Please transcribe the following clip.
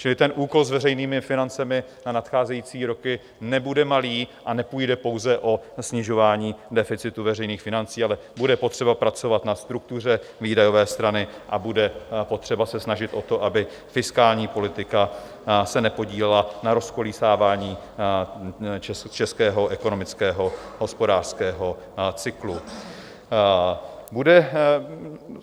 Čili ten úkol s veřejnými financemi na nadcházející roky nebude malý a nepůjde pouze o snižování deficitu veřejných financí, ale bude potřeba pracovat na struktuře výdajové strany a bude potřeba se snažit o to, aby fiskální politika se nepodílela na rozkolísávání českého ekonomického hospodářského cyklu.